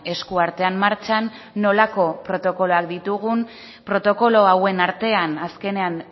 eskuartean martxan nolako protokoloak ditugun protokolo hauen artean azkenean